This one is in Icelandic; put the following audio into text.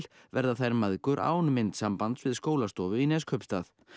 verða þær mæðgur án myndsambands við skólastofu í Neskaupstað